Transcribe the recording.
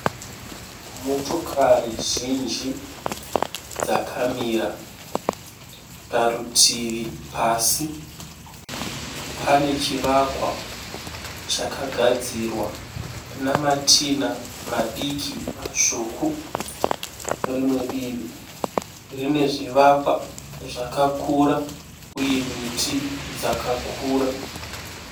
Motokari zhinji dzakamira. Parutivi pasi pane chivakwa chakagadzirwa namatinha madiki matsvuku. Rimwe divi rine zvivakwa zvakakura uye miti dzakakura.